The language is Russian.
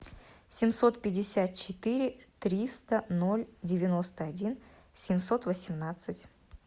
семьсот пятьдесят четыре триста ноль девяносто один семьсот восемнадцать